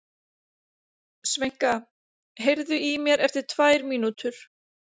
Sveinka, heyrðu í mér eftir tvær mínútur.